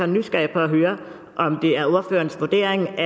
nysgerrig efter at høre om det er ordførerens vurdering